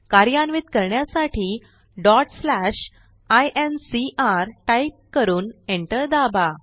कार्यान्वित करण्यासाठी incr type करून एंटर दाबा